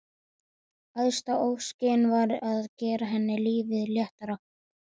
Æðsta óskin var að gera henni lífið léttara.